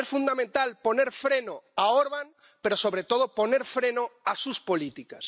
Es fundamental poner freno a Orbán pero, sobre todo, poner freno a sus políticas.